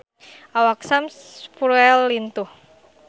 Awak Sam Spruell lintuh